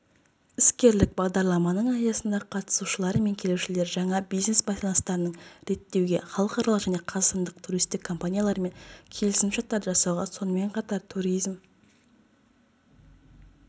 іскерлік бағдарламаның аясында қатысушылары мен келушілері жаңа бизнес байланыстарын реттеуге халықаралық және қазақстандық туристік компаниялармен келісімшарттарды жасауға сонымен қатар туризм